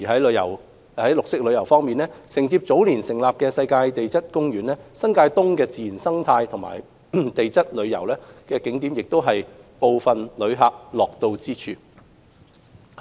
綠色旅遊方面，承接早年成立的世界地質公園，新界東的自然生態和地質旅遊景點亦是部分旅客樂到之處。